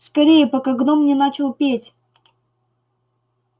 скорее пока гном не начал петь